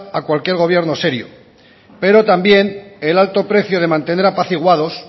a cualquier gobierno serio pero también el alto precio de mantener apaciguados